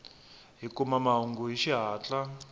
hi kuma mahungu hi xihatla